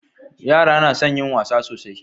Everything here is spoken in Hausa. yara na son yin wasa sosai